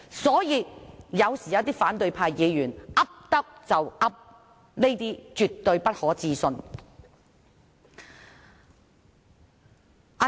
所以，一些反對派議員有時候胡說八道，是絕不可信的。